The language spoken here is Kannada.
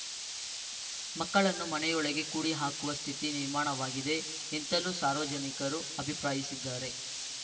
ಮಕ್ಕಳನ್ನು ಮನೆಯೊಳಗೆ ಕೂಡಿಹಾಕುವ ಸ್ಥಿತಿ ನಿರ್ಮಾಣವಾಗಿದೆ ಎಂತಲೂ ಸಾರ್ವಜನಿಕರು ಅಭಿಪ್ರಾಯಿಸಿದ್ದಾರೆ